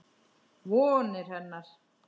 Vonir hennar.